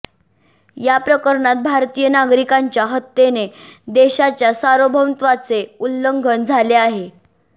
या प्रकरणात भारतीय नागरिकांच्या हत्येने देशाच्या सार्वभौमत्वाचे उल्लंघन झाले आहे